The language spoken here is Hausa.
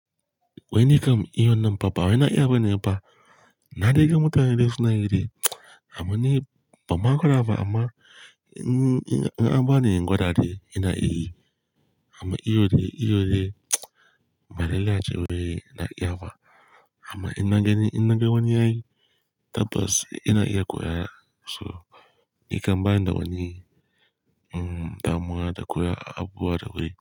Wai ni kam iyo nan pa ba wai na iya ba ne pa. Na dai gan mutane de suna gan de abun ne ban ma ƙara ba amma n-in an bani in gwada de ina iya yi. Amma iyo dai iyo dai ba lalle a ce wai na iya ba. Amma ina de gan ina gan wani yayi tabbas ina iya koyar so ni kam ba ni da wani damuwa da koyi abuwa da wurin.